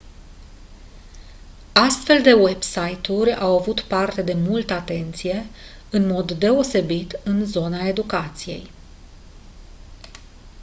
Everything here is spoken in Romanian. astfel de website-uri au avut parte de multă atenție în mod deosebit în zona educației